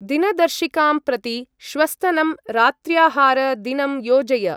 दिनदर्शिकां प्रति श्वस्तनं रात्र्याहार-दिनं योजय।